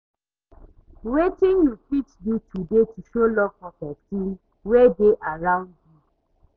Wetin you fit do today to show love for pesin wey dey around you?